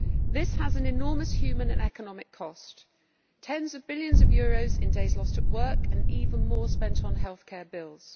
This has an enormous human and economic cost tens of billions of euros in days lost at work, and even more spent on health care bills.